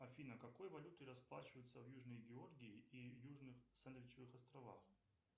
афина какой валютой расплачиваются в южной георгии и южных сандвичевых островах